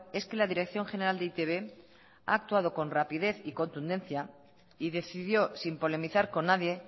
es que la dirección general de e i te be ha actuado con rapidez y contundencia y decidió sin polemizar con nadie